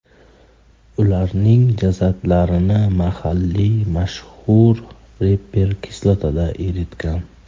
Ularning jasadlarini mahalliy mashhur reper kislotada eritgan.